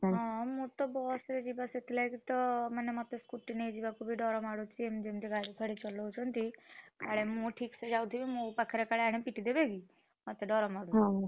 ହଁ ମୁଁ ତ ବସ୍ ରେ ଯିବା ସେଥିଲାଗି ତ ମାନେ ମତେ scooty ନେଇ ଯିବାକୁ ବି ଡ଼ର ମାଡୁଛି ଏମତି ଯେମିତି! ମାନେ ଗାଡି ଫାଡିଚଲଉଛନ୍ତି ଆଡେ, ମୁଁ ୟାଡେ ଠିକ୍‌ ସେ ଚଲଉଥିବି କାଳେ ମୋ ପାଖରେ ଆଣିପିଟିଦେବେ କି? ମତେ ଡ଼ର ମାଡୁଛି। ।